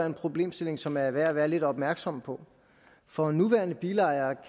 en problemstilling som er værd at være lidt opmærksom på for en nuværende bilejer